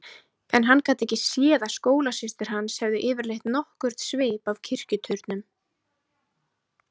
En hann gat ekki séð að skólasystur hans hefðu yfirleitt nokkurn svip af kirkjuturnum.